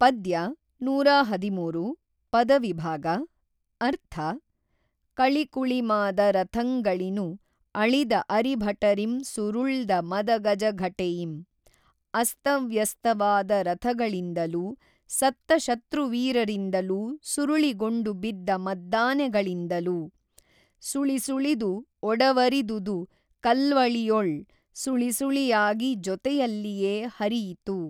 ಪದ್ಯ ನೂರ ಹದಿಮೂರು ಪದವಿಭಾಗ ಅರ್ಥ ಕೞಕುೞಮಾದ ರಥಂಗಳಿನು ಅೞಿದ ಅರಿಭಟರಿಂ ಸುರುಳ್ದ ಮದಗಜಘಟೆಯಿಂ ಅಸ್ತವ್ಯಸ್ತವಾದ ರಥಗಳಿಂದಲೂ ಸತ್ತ ಶತ್ರುವೀರರಿಂದಲೂ ಸುರುಳಿಗೊಂಡು ಬಿದ್ದ ಮದ್ದಾನೆಗಳಿಂದಲೂ ಸುೞಿಸುೞಿದು ಒಡವರಿದುದು ಕಲ್ವೞಿಯೊಳ್ ಸುಳಿಸುಳಿಯಾಗಿ ಜೊತೆಯಲ್ಲಿಯೇ ಹರಿಯಿತು.